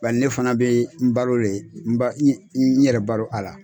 Bari ne fana be n balo de, n yɛrɛ balo a la.